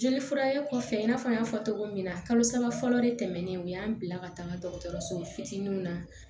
Jeli furakɛ kɔfɛ i n'a fɔ an y'a fɔ cogo min na kalo saba fɔlɔ de tɛmɛnen o y'an bila ka taa dɔgɔtɔrɔso fitininw na